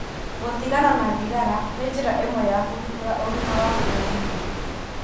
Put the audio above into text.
Gũtigana na thigara nĩ njĩra ĩmwe ya kũgitĩra ũgima waku wa mwĩrĩ.